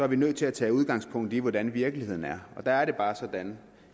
vi nødt til at tage udgangspunkt i hvordan virkeligheden er der er det bare sådan